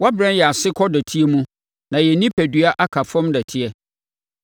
Wɔabrɛ yɛn ase kɔ dɔteɛ mu na yɛn onipadua aka afam dɔteɛ.